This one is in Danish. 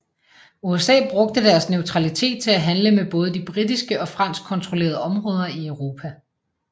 USA brugte deres neutralitet til at handle med både de britiske og franskkontrollerede områder i Europa